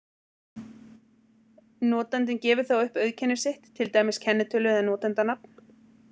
Notandinn gefur þá upp auðkenni sitt, til dæmis kennitölu eða notandanafn.